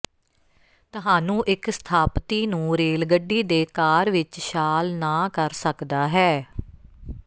ਤੁਹਾਨੂੰ ਇੱਕ ਸਥਾਪਤੀ ਨੂੰ ਰੇਲ ਗੱਡੀ ਦੇ ਕਾਰ ਵਿੱਚ ਛਾਲ ਨਾ ਕਰ ਸਕਦਾ ਹੈ